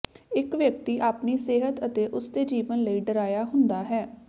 ਇੱਕ ਵਿਅਕਤੀ ਆਪਣੀ ਸਿਹਤ ਅਤੇ ਉਸਦੇ ਜੀਵਨ ਲਈ ਡਰਾਇਆ ਹੁੰਦਾ ਹੈ